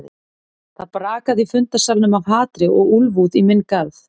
Það brakaði í fundarsalnum af hatri og úlfúð í minn garð.